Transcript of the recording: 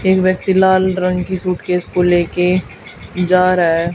एक व्यक्ति लाल रंग की सूटकेस को ले के जा रहा है।